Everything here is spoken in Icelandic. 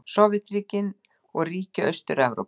Sovétríkin og ríki Austur-Evrópu.